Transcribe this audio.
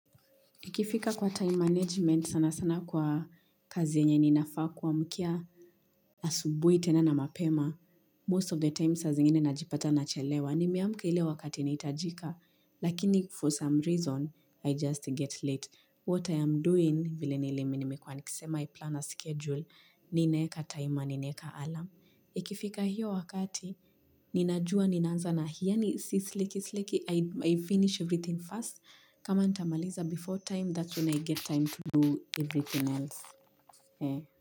Ikifika kwa time management sana sana kwa kazi yenye ninafaa kuamkia asubuhi tena na mapema. Most of the time sa zingine najipata nachelewa. Nimeamka ile wakati inaitajika. Lakini for some reason I just get late. What I am doing vile nilimi nimekuwa nikisema i plan a schedule. Ninaeka time, ninaeka alarm. Ikifika hiyo wakati ninajua ninaanza na yani si sleki sleki I finish everything first. Kama ndamaliza before time, that's when I get time to do everything else.